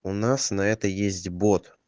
у нас на это есть бот